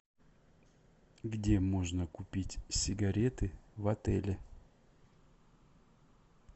где можно купить сигареты в отеле